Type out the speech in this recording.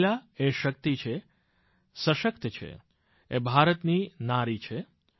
મહિલા એ શક્તિ છે સશક્ત છે એ ભારતની નારી છે